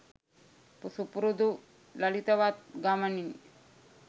සුපුරුදු ලලිතවත් ගමනින්